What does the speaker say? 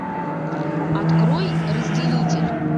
открой разделитель